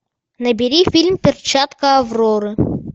набери фильм перчатка авроры